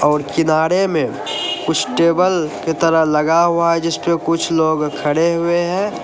और किनारे में कुछ टेबल की तरह लगा हुआ है जिस पर कुछ लोग खड़े हुए हैं।